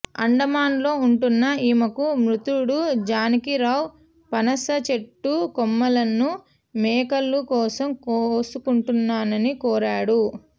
అండమానులో ఉంటున్న ఈమెకు మృతుడు జానకీరావు పనస చెట్టు కొమ్మలను మేకల కోసం కోసుకుంటానని కోరాడు